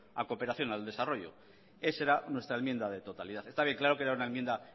la cooperación al desarrollo ese era nuestra enmienda de totalidad está bien claro